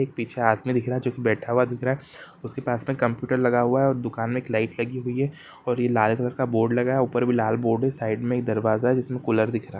एक पीछे आदमी दिख रहा है जो की बैठा हुआ दिख रहा है उसके पास में कंप्यूटर लगा हुआ है और दुकान में एक लाईट लगी हुई है और ये लाल रंग का बोर्ड लगा है ऊपर भी लाल बोर्ड है साईड में एक दरवाजा जिसमें कूलर दिख रहा है।